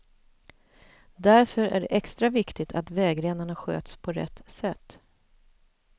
Därför är det extra viktigt att vägrenarna sköts på rätt sätt.